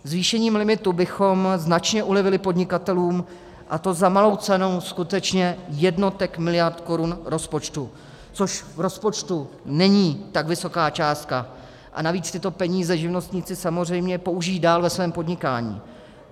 Zvýšením limitu bychom značně ulevili podnikatelům, a to za malou cenu skutečně jednotek miliard korun rozpočtu, což v rozpočtu není tak vysoká částka, a navíc tyto peníze živnostníci samozřejmě použijí dál ve svém podnikání.